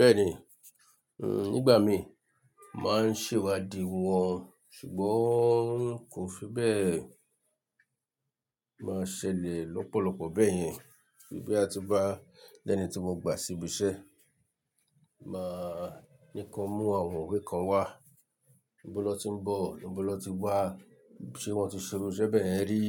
Bẹ́ẹ̀ni, hm, nígbà mí máa ń ṣèwádìí wọn, ṣùgbọ́n kò fi bẹ́ẹ̀ máa ṣẹlẹ̀ lọ́pọ̀lọpọ̀ bẹ́ẹ̀ yẹn, bí a ti bá lẹ́ni tí mo gbà sí ibi iṣẹ́, máa ní ká mú àwọn ìwé kan wá, nibọ́ lọ́ ti ń bọ̀? Nibọ́ lọ́ ti wá? Ṣé wọ́n ti ṣerò iṣẹ́ bẹ́ẹ̀ rí?